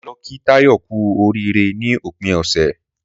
Mà á lo kí Táyò kú orííre ní òpin òsè